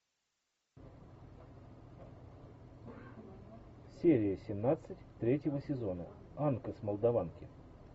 серия семнадцать третьего сезона анка с молдаванки